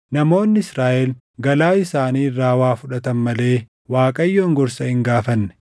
Namoonni Israaʼel galaa isaanii irraa waa fudhatan malee Waaqayyoon gorsa hin gaafanne.